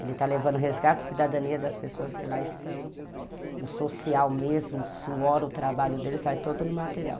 Ele está levando o resgate, a cidadania das pessoas que lá estão, o social mesmo, o suor, o trabalho deles, sai todo no material.